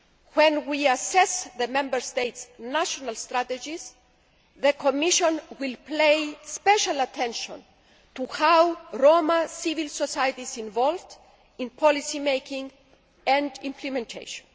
When we assess the Member States' national strategies, the Commission will pay special attention to how Roma civil society is involved in policy making and implementation.